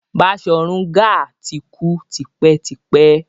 Baṣorun Gaa ti kú tipẹ́ tipẹ́.